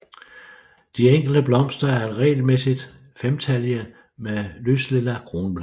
De enkelte blomster er regelmæssigt femtallige med lyslilla kronblade